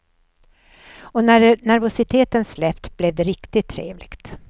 Och när nervositeten släppt blev det riktigt trevligt.